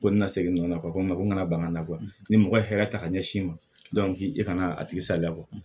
Ko n ka segin nɔ kɔ n kana ban n na ni mɔgɔ ye hakɛya ta ka ɲɛsin ma e ka na a tigi saliya